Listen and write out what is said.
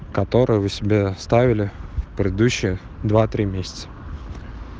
который вы себе ставили в предыдущие два три месяца